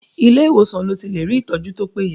Ilé ìwòsàn lo ti lè rí ìtọ́jú tó péye.